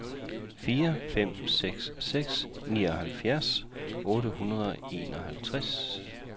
fire fem seks seks nioghalvfjerds otte hundrede og enoghalvtreds